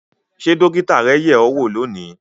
Ṣé dókítà rẹ yẹ̀ ẹ́ wò lónìí